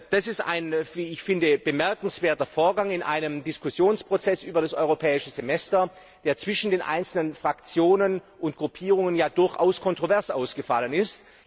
Das ist ein, wie ich finde, bemerkenswerter Vorgang in einem Diskussionsprozess über das Europäische Semester, der zwischen den einzelnen Fraktionen und Gruppierungen ja durchaus kontrovers ausgefallen ist.